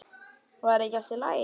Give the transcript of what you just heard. Var ekki allt í lagi?